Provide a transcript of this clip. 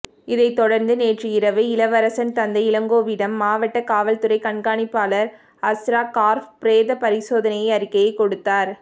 இதைத் தொடர்ந்து நேற்று இரவு இளவரசன் தந்தை இளங்கோவிடம் மாவட்ட காவல்துறை கண்காணிப்பாளர் அஸ்ராகார்க் பிரேத பரிசோதனை அறிக்கையை கொடுத்தார்